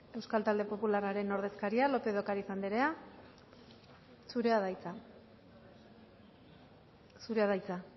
euskal talde popularraren ordezkaria lópez de ocariz andrea zurea da hitza zurea da hitza